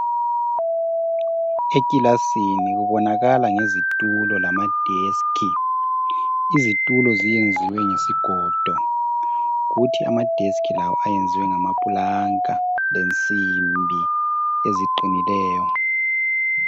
ekilasini kubonakala ngezitulo lama desk, izitulo zenziwe ngesigodo kuthi ama desk lawo enziwe ngama pulanka lesimbi eziqinileyo